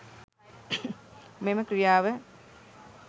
මෙම ක්‍රියාව